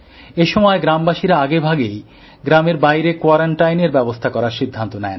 এসময় গ্রামবাসীরা আগেভাগেই গ্রামের বাইরে কোয়ারান্টাইনের ব্যবস্থা করার সিদ্ধান্ত নেন